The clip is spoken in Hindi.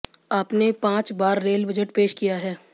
आपने पांच बार रेल बजट पेश किया है